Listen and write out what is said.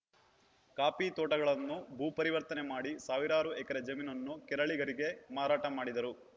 coffee ತೋಟಗಳನ್ನು ಭೂ ಪರಿವರ್ತನೆ ಮಾಡಿ ಸಾವಿರಾರು ಎಕರೆ ಜಮೀನನ್ನು ಕೇರಳಿಗರಿಗೆ ಮಾರಾಟ ಮಾಡಿದರು